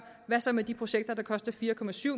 hvad så med de projekter der koster fire